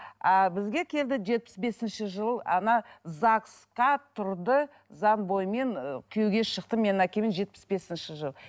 а бізге келді жетпіс бесінші жыл загс қа тұрды заң бойымен ы күйеуге шықты менің әкеме жетпіс бесінші жылы